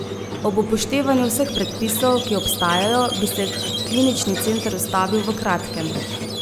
Ob upoštevanju vseh predpisov, ki obstajajo, bi se klinični center ustavil v kratkem.